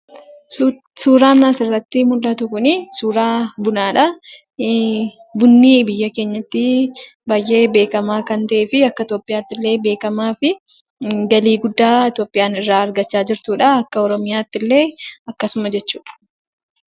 Suuraan asirratti mul'atu kun suuraa bunaadha. Bunni biyya keenyatti baay'ee beekamaa kan ta'ee fi akka Itoophiyaattillee beekamaa fi galii guddaa Itoophiyaan irraa argattudha akka oromiyaattillee akkasuma.